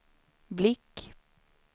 blick